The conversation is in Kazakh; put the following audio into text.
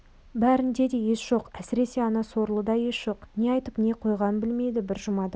бәрінде де ес жоқ әсіресе ана сорлыда ес жоқ не айтып не қойғанын білмейді бір жұмадан